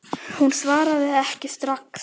Hún svaraði ekki strax.